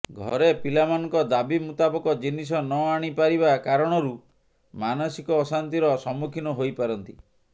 ଘରେ ପିଲାମାନଙ୍କ ଦାବି ମୁତାବକ ଜିନିଷ ନ ଆଣିପାରିବା କାରଣରୁ ମାନସିକ ଅଶାନ୍ତିର ସମ୍ମୁଖୀନ ହୋଇପାରନ୍ତି